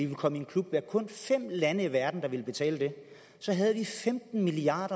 vi kom i en klub med kun fem lande i verden der vil betale det så havde vi femten milliard